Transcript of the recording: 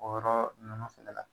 Bɔyɔrɔ nunnu fɛnɛ la